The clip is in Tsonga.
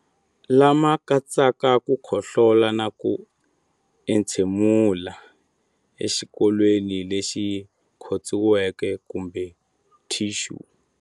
Lama katsaka ku khohlola na ku entshemulela exikokolweni lexi khotsiweke kumbe thixu.